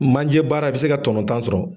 Manje baara i bi se ka tɔnɔ tan sɔrɔ.